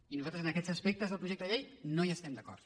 i nosaltres en aquests aspectes del projecte de llei no hi estem d’acord